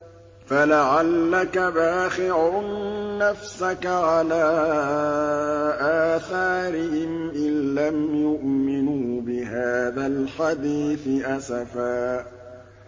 فَلَعَلَّكَ بَاخِعٌ نَّفْسَكَ عَلَىٰ آثَارِهِمْ إِن لَّمْ يُؤْمِنُوا بِهَٰذَا الْحَدِيثِ أَسَفًا